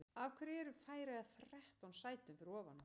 Af hverju eru Færeyjar þrettán sætum fyrir ofan okkur?